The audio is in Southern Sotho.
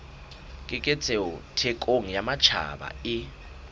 keketseho thekong ya matjhaba e